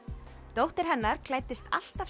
dóttir hennar klæddist alltaf